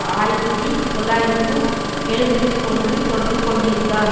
ஆயிரத்தி தொள்ளாயிரத்து எண்பத்தி ஒன்றில் தொடர்பு கொண்டிருந்தார்